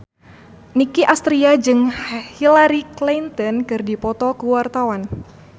Nicky Astria jeung Hillary Clinton keur dipoto ku wartawan